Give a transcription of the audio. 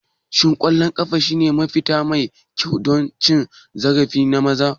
Shin ƙwallon ƙafa shine mafita mai kyau don cin zarafi na maza?